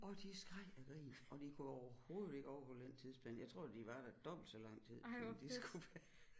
Og de skreg af grin og de kunne overhovedet ikke overholde den tidsplan jeg tror de var der dobbelt så lang tid som de skulle være